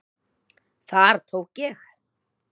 Þar tók ég